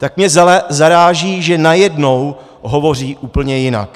Tak mě zaráží, že najednou hovoří úplně jinak.